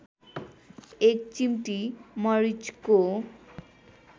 एक चिम्टी मरिचको